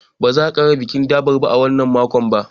Ba za a ƙara yin bikin durbar a wannan makon ba.